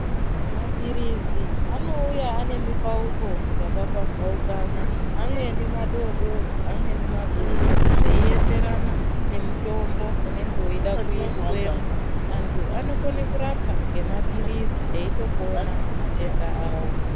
Mapirizi anouya ane mipauko yakapambaukana , ameweni madoodori amweni makuru zveienderana nemutombo unenge weida kuiswemwo. Antu anokone kurapwa ngemapirizi eitopona matenda awo .